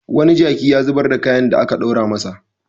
Wani jaki ya zubar da kayan da aka ɗora masa.